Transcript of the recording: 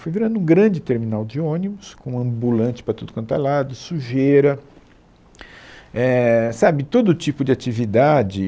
Foi virando um grande terminal de ônibus, com ambulante para tudo quanto é lado, sujeira, éh, sabe, todo tipo de atividade.